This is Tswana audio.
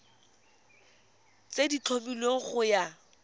tse di tlhomilweng go ya